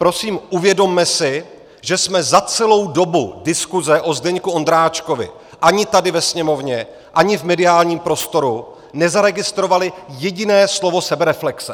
Prosím, uvědomme si, že jsme za celou dobu diskuse o Zdeňku Ondráčkovi ani tady ve Sněmovně, ani v mediálním prostoru nezaregistrovali jediné slovo sebereflexe.